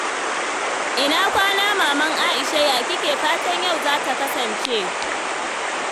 Ina kwana Maman Aisha? Ya kike fatan yau za ta kasance?